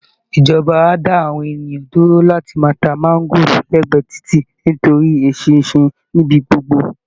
Ìjọba á dá àwọn ènìyàn dúró láti máa ta máńgóòrò lẹ́gbẹ̀ẹ́ títì nítorí eṣinṣin níbi gbogbo